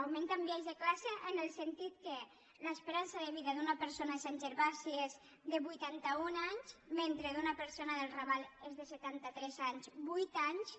augment amb biaix de classe en el sentit que l’esperança de vida d’una persona a sant gervasi és de vuitanta un anys mentre que d’una persona del raval és de setanta tres anys vuit anys